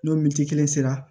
N'o kelen sera